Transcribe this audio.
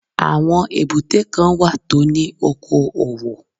Àwọn èbúté kan wà tó ní oko òwò